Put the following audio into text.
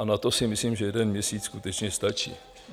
A na to si myslím, že jeden měsíc skutečně stačí.